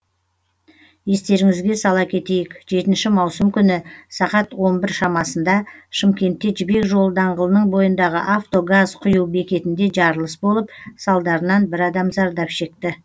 естеріңізге сала кетейік жетінші маусым күні сағат он бірінші шамасында шымкентте жібек жолы даңғылының бойындағы авто газ құю бекетінде жарылыс болып салдарынан бір адам зардап шекті